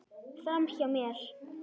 Framhjá mér.